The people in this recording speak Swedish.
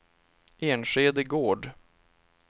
Enskede Gård